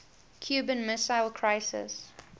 cuban missile crisis